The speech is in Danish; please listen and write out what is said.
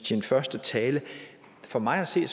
sin første tale for mig at se